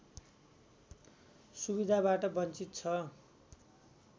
सुविधाबाट बञ्चित छ